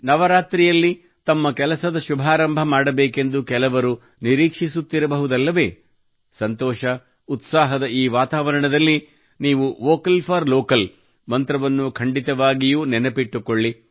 ನವರಾತ್ರಿಯಲ್ಲಿ ತಮ್ಮ ಕೆಲಸದ ಶುಭಾರಂಭ ಮಾಡಬೇಕೆಂದು ಕೆಲವು ನಿರೀಕ್ಷಿಸುತ್ತಿರಬಹುದಲ್ಲವೇ ಸಂತೋಷ ಉತ್ಸಾಹದ ಈ ವಾತಾವರಣದಲ್ಲಿ ನೀವು ವೋಕಲ್ ಫಾರ್ ಲೋಕಲ್ ಮಂತ್ರವನ್ನು ಖಂಡಿತವಾಗಿಯೂ ನೆನಪಿಸಿಟ್ಟುಕೊಳ್ಳಿ